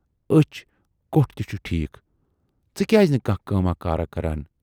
ٲچھ کوٹھ تہِ چھُے ٹھیٖک، ژٕ کیازِ نہٕ کانہہ کٲماہ کارا کَران؟